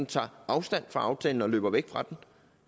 tager afstand fra den og løber væk fra den